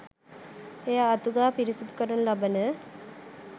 එය අතු ගා පිරිසිදු කරනු ලබන